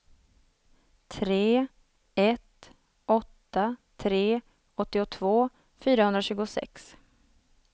tre ett åtta tre åttiotvå fyrahundratjugosex